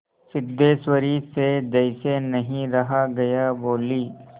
सिद्धेश्वरी से जैसे नहीं रहा गया बोली